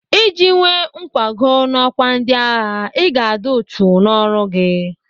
Iji nwee nkwago n'ọkwa ndịagha, Ị ga-adị uchu n'ọrụ gị.